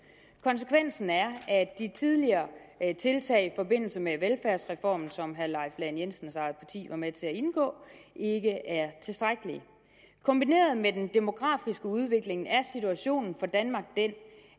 konsekvensen er at de tidligere tiltag i forbindelse med velfærdsreformen som herre leif lahn jensens eget parti var med til at indgå ikke er tilstrækkelige kombineret med den demografiske udvikling er situationen for danmark den